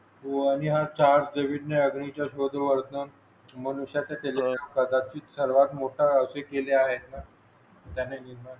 हो आणि हा चार्ट नवीन विज्ञान वर्ण मनुष्याचे त्याच्यावर सर्वात मोठा हे केला आहे मॅनेजमेंट